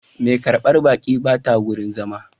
Mai karbar baƙi ba ta wurin zama